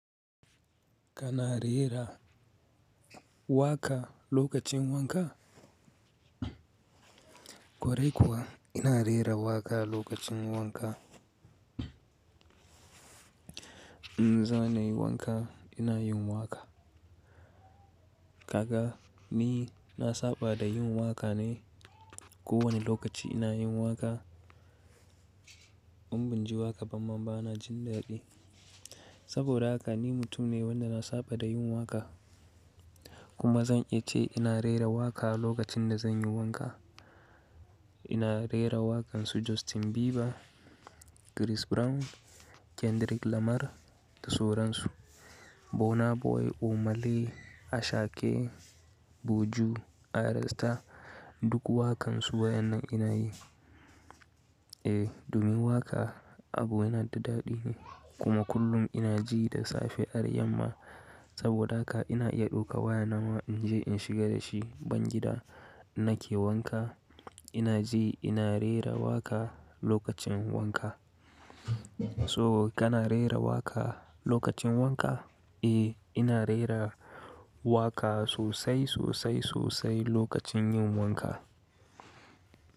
Kana rera waƙa lokacin wanka? Kwarai kuwa ina rera waƙa lokacin wanka. Inza nai wanka ina yin waƙa. Kaga ni na saba da yin waƙa ne. Ko wani lokaci ina yin waƙa, in binji waƙa bama bana jin daɗi. Saboda haka ni mutum ne wanda na saba da yin waƙa. Kuma zan iya ce ina rera waƙa lokacin da zan yi wanka. Ina rera waƙansu Justin Bieber, Chris Brown, Kendrick Lamar da sauransu. Burna Boy, Omah Lay, Ashake, Buju, R Star duk waƙansu wa'yannan ina yi. Eh, domin waƙa abu yana da daɗi ne. Kuma kullum ina ji da safe har yamma. Saboda haka ina iya ɗauka waya na ma in je in shiga da shi bangida nake wanka. Ina ji ina rera waƙa lokacin wanka. So kana rera waƙa lokacin wanka? Eh, ina rera waƙa sosai, sosai, sosai lokacin yin wanka.